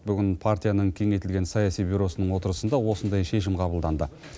бүгін партияның кеңейтілген саяси бюросының отырысында осындай шешім қабылданды